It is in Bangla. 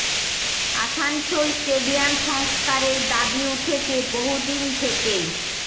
আসানসোল স্টেডিয়াম সংস্কারের দাবি উঠেছে বহু দিন থেকেই